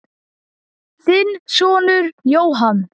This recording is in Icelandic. Þinn sonur, Jóhann.